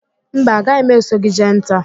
Mba, a gaghị m eso gị jee nta